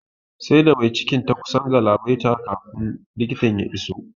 Sai da mai cikin ta kusan galabaita kafin likita ya iso